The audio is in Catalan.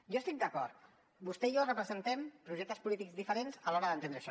jo hi estic d’acord vostè i jo representem projectes polítics diferents a l’hora d’entendre això